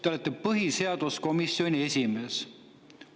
Te olete põhiseaduskomisjoni esimees!